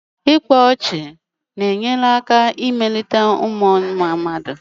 Ịkpa ọchị na-enyere aka emelite mmuọ mmadụ.